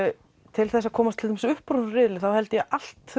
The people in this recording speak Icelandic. til þess að komast til dæmis upp úr þessum riðli þarf allt